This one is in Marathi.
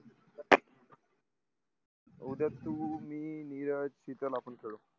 उद्या तू मी नीरज शीतल आपण करू